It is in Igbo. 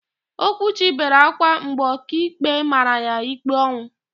Okwuchi bere ákwá mgbe ọkaikpe mara ya ikpe ọnwụ.